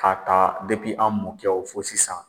K'a ta an mɔkɛw foɔ sisan.